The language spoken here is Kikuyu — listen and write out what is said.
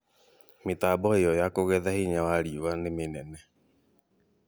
Mĩtambo ĩyo ya kũgetha hinya wa riũa nĩ mĩnene